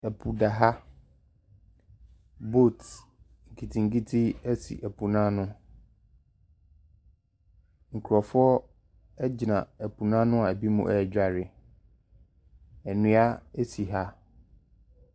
Po da ha. Boat nketenkete si po no ano. Nkurɔfoɔ gyina po no ano a ebinom redware. Nnua si ha.